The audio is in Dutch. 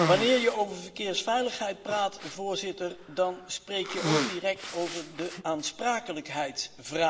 Wanneer je over verkeersveiligheid praat, dan spreek je ook direct over de aansprakelijkheidsvraag.